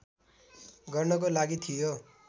गर्नको लागि थियो